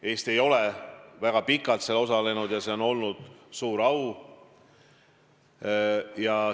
Eesti ei ole väga kaua seal osalenud ja nüüd oli mul suur au seal kohal olla.